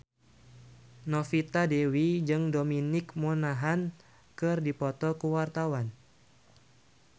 Novita Dewi jeung Dominic Monaghan keur dipoto ku wartawan